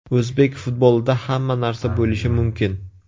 O‘zbek futbolida hamma narsa bo‘lishi mumkin.